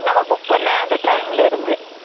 நம்ம book பண்ண, அந்த time ல இருந்து